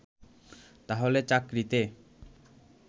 তাহলে চাকরিতে